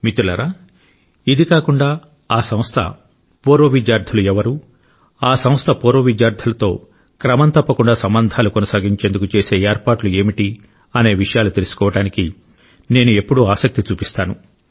మిత్రులారా ఇది కాకుండా ఆ సంస్థ పూర్వ విద్యార్థులు ఎవరు ఆ సంస్థ పూర్వ విద్యార్థులతో క్రమం తప్పకుండా సంబంధాలు కొనసాగించేందుకు చేసే ఏర్పాట్లు ఏమిటి అనే విషయాలు తెలుసుకోవటానికి నేను ఎప్పుడూ ఆసక్తి కలిగి చూపిస్తాను